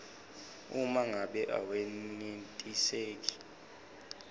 uma ngabe awenetiseki